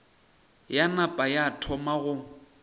ya napa ya thoma go